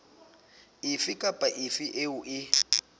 efe kapa efe eo e